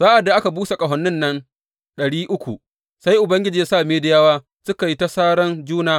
Sa’ad da aka busa ƙahonin nan ɗari uku sai Ubangiji ya sa Midiyawa suka yi ta saran juna.